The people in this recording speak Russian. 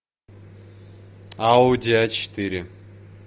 ауди а четыре